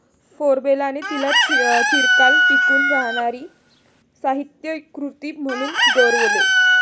फ्लोबेराने तिला 'चिरकाल टिकून राहणारी साहित्यकृती' म्हणून गौरवले.